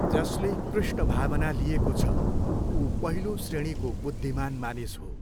जसले कृष्ण भावना लिएको छ, ऊ पहिलो श्रेणीको बुद्धिमान मानिस हो।